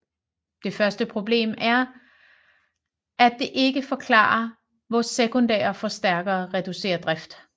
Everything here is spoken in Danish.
Det første problem er at det ikke forklarer hvor sekundære forstærkere reducerer drift